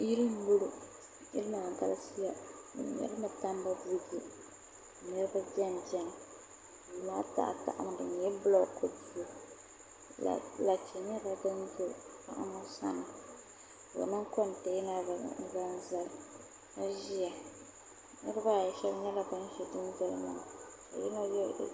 Yili m-bɔŋɔ yili maa galisiya bɛ me li mi tambu buyi niriba benibeni duu maa tahitahimi di nyɛla bulooku duu lache nyɛla din be paɣa ŋɔ sani ka o niŋ kɔnteena bila n-zaŋ zali ka ʒiya niriba yi shɛba nyɛla ban ʒi dundoli maa ni ka yino ye